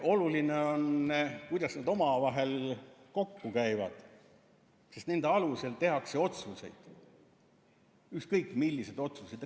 Oluline on, kuidas nad omavahel kokku käivad, sest nende alusel tehakse otsuseid, ükskõik milliseid otsuseid.